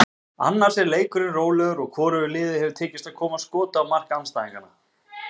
Annars er leikurinn rólegur, hvorugu liði hefur tekist að koma skoti á mark andstæðinganna.